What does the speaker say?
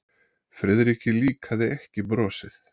Friðriki líkaði ekki brosið.